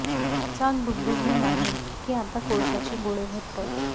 चाक डुगडुगणे नाही की आता कोळशाचे गोळे घट्ट